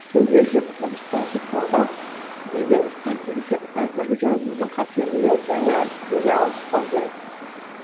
тілде жоқ дыбыстарды қолдау деген кәзіргі жазудың қателігі жаңа әліпбиге ауыспау керек